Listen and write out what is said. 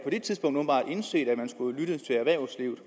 indset at man skulle lytte til erhvervslivet